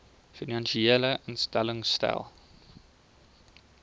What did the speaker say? finansiële instellings stel